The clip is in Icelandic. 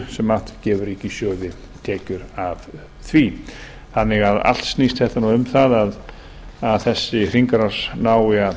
tekjur sem gefur ríkissjóði tekjur af því þannig að allt snýst þetta um það að þessi hringrás nái að